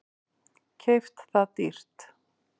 Keypt það dýrt.